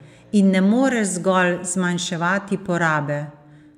In ne moreš zgolj zmanjševati porabe.